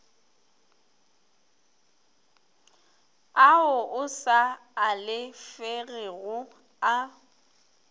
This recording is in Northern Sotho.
ao a sa alafegego a